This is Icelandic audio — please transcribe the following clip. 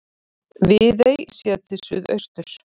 Viðey séð til suðausturs.